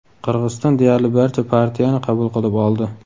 Qirg‘iziston deyarli barcha partiyani qabul qilib oldi.